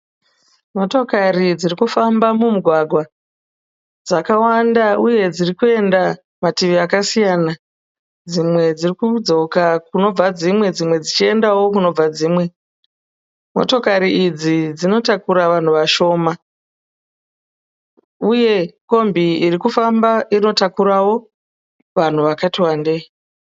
Motokari dzirikufamba mumugwagwa, dzakawanda uye dzirikuenda mativi akasiyana. Dzimwe dzirikudzoka kunobva dzimwe, dzimwe dzichikuendawo kunobva dzimwe. Motokari idzi dzinotakura vanhu vashoma, uye Kombi irikufamba inotakurawo vanhu vakati wandei.